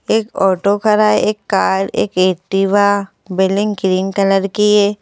एक ऑटो खरा है एक कार एक एक्टिवा बिल्डिंग ग्रीन कलर की है।